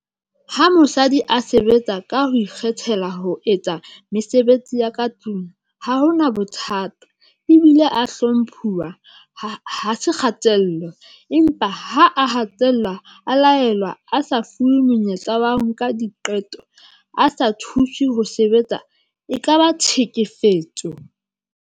Ha mosadi a sebetsa ka ho ikgethela ho etsa mesebetsi ya ka tlung, ha hona bothato ebile a hlomphuwa, ha se kgatello. Empa ha a hatellwa, a laelwa a sa fuwe monyetla wa ho nka diqeto, a sa thuswe ho sebetsa e ka ba tshekefetso.